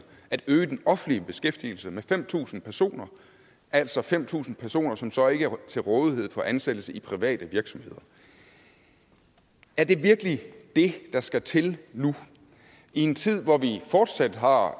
at øge den offentlige beskæftigelse med fem tusind personer altså fem tusind personer som så ikke er til rådighed for ansættelse i private virksomheder er det virkelig det der skal til nu i en tid hvor vi fortsat har